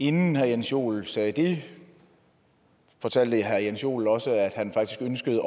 inden herre jens joel sagde det fortalte herre jens joel også at han faktisk ønskede